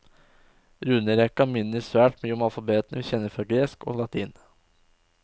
Runerekka minner svært mye om alfabetene vi kjenner fra gresk og latin.